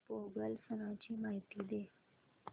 पोंगल सणाची माहिती दे